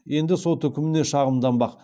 енді сот үкіміне шағымданбақ